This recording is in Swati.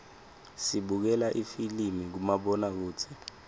sibukela lifilimi kumabonakudze